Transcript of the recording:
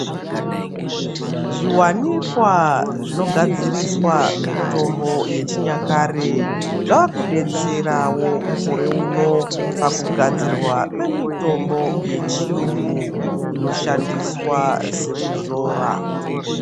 Zviwanikwa zvinogadziriswa mitombo yechinyakare zvava kudetserawo mukoreuno pakugadzirwa kwemitombo yechiyungu inoshandiswa sekuzora.